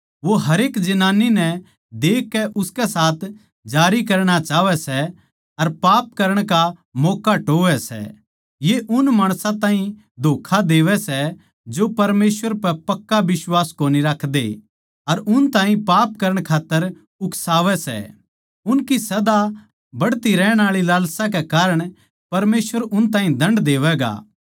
वो हरेक जनानी नै देखकै उसके साथ जारी करणा चाहवै सै अर पाप करण का मौक्का टोहवै सै ये उन माणसां ताहीं धोक्खा देवै सै जो परमेसवर पै पक्का बिश्वास कोनी राखदे अर उन ताहीं पाप करण खात्तर उकसावै सै उनकी सदा बढ़दी रहण आळी लालसा के कारण परमेसवर उन ताहीं दण्ड देवैगा